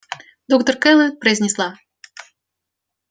доктор кэлвин произнесла